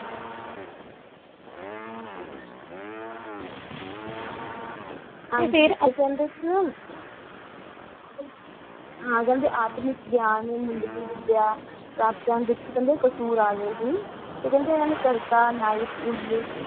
ਤਕਫਿਰ ਕੰਦੀ ਸੈਨਾ ਤੁਹਾਡੀ ਗੰਦੀ ਫਿਲਮ ਮੀਡੀਆ